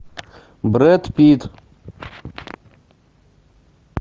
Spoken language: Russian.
брэд питт